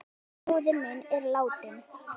Árni bróðir minn er látinn.